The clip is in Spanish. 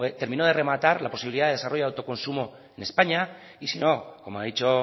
terminó de rematar la posibilidad de desarrollo de autoconsumo en españa y si no como ha dicho